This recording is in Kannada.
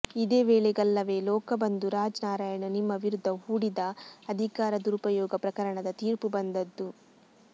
ಇದೇ ವೇಳೆಗಲ್ಲವೇ ಲೋಕಬಂಧು ರಾಜ್ ನಾರಾಯಣ್ ನಿಮ್ಮ ವಿರುದ್ಧ ಹೂಡಿದ್ದ ಅಧಿಕಾರ ದುರುಪಯೋಗ ಪ್ರಕರಣದ ತೀರ್ಪು ಬಂದದ್ದು